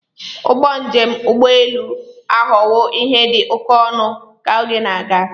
Ụgbọ njem ụgbọ elu aghọwo ihe dị oke ọnụ ka oge na-aga.